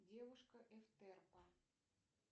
девушка эфтерпа